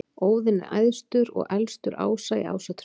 Óðinn er æðstur og elstur ása í Ásatrú.